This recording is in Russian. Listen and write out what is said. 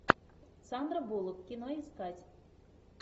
сандра буллок кино искать